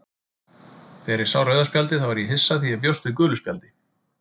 Þegar ég sá rauða spjaldið þá var ég hissa því ég bjóst við gulu spjaldi,